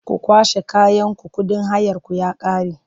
Ku kwashe kayanku kuɗin hayarku ya ƙare!